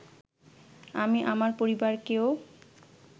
আমি আমার পরিবারকেও